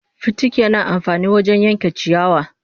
Fitiki yana amfani wajen yanke ciyawa